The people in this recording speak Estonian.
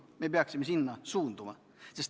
Me peaksime sinnapoole suunduma.